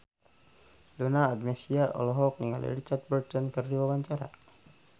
Donna Agnesia olohok ningali Richard Burton keur diwawancara